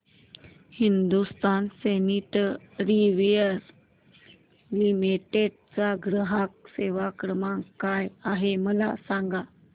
Hindustan sanitaryware limited चा ग्राहक सेवा क्रमांक काय आहे मला सांगा